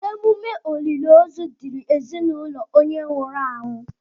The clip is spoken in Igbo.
Emume olili ozu dịịrị ezinaụlọ onye nwụrụ anwụ.